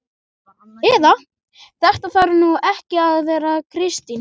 Eða: Þetta þarf nú ekki að vera Kristín